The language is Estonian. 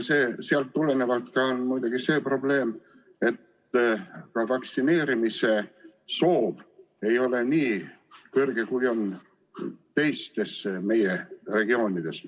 Sellest tulenevalt on muidugi ka see probleem, et vaktsineerimise soov ei ole nii suur, kui on teistes Eesti regioonides.